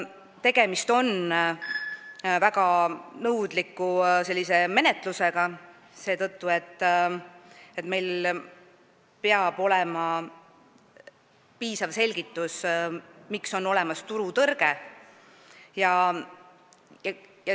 Tegemist on väga nõudliku menetlusega, sest meil peab olema piisav selgitus, kuidas on turutõrge tekkinud.